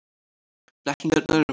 Blekkingarnar eru margar.